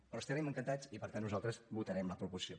però hi estarem encantats i per tant nosaltres votarem la proposició